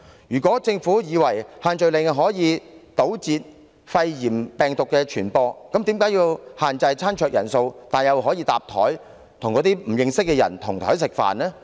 如果政府認為限聚令可堵截肺炎病毒的傳播，那麼為何要限制餐桌人數，但又容許共用餐桌，讓市民跟不認識的人同桌吃飯？